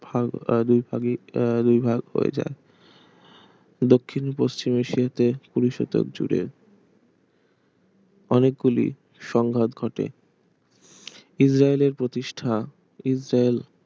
ভাগ আহ দুই ভাগই আহ ভাগ হয়ে যায় দক্ষিণ পশ্চিম এশিয় তে কুড়ি শতক জুড়ে অনেকগুলি সংঘাত ঘটে ইজরায়েলের প্রতিষ্ঠা ইজরায়েল